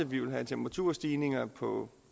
vi vil have temperaturstigninger på